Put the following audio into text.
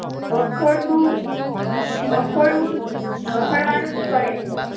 રખડતું રખડવું જ રખડવાનું જ કરે છે